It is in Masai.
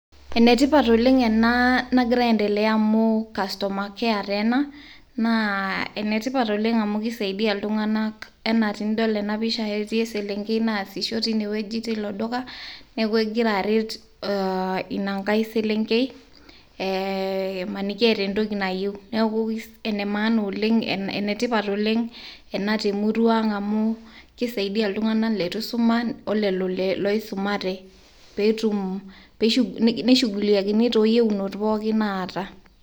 Ene tipat oleng ena nagira aendelea amu customer care taa ena , naa ene tipat oleng amu kisaidia iltunganak ena tinidol ena pisha , etii eselenkei naasisho tino duka , niaku egira aret ina nkae selenkei , imaniki eeta entoki nayieu , neku ena maana oleng, ene tipat oleng ena te murua ang amu , kisaidia iltunganak lituisuma ,olelo loisumate petum , neishuguliae too yieunot pookin naata